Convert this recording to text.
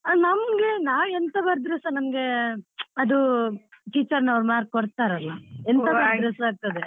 ನಮ್ಗೆ ನಾವೆಂತ ಬರುದ್ರು ಸಾ ನಮ್ಗೆ ಅದು teacher ನವ್ರು mark ಕೊಡ್ತಾರಲ್ಲ ಎಂತ ಬರುದ್ರು ಸಾ ಆಗ್ತದೆ.